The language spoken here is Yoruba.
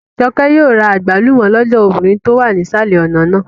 Jọkẹ́ yóò ra àgbálùmọ́ lọ́dọ̀ obìnrin tó wà nísàlẹ̀ ọ̀nà náà